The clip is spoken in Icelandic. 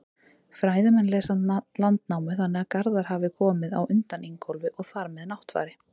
Fræðimenn lesa Landnámu þannig að Garðar hafi komið á undan Ingólfi og þar með Náttfari.